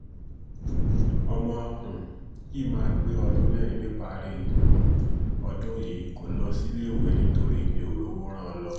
ọmọ um yìí máa pé ọdún mẹ́rin níparí um ọdún yìí kó lọ síléèwé nítorí mi ò rówó rán an lọ